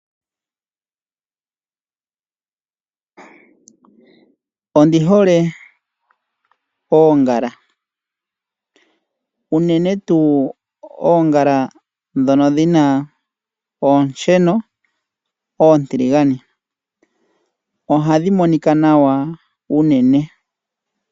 Ondi hole oongala. Uunene tuu oongala dhono dhina oosheno otiligane ohadhi monika nawa unene.